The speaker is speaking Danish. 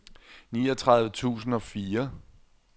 niogtredive tusind og fire